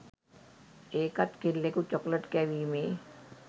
ඒකත් කෙල්ලෙකු චොකලට් කැවීමේ